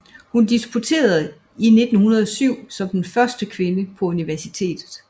Hun disputerede i 1907 som den første kvinde på universitetet